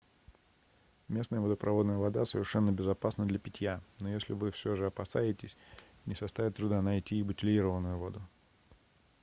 местная водопроводная вода совершенно безопасна для питья но если вы все же опасаетесь не составит труда найти и бутилированную воду